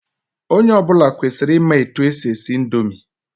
Onye ọbụla kwesịrị ị ma etu e si esi indomi.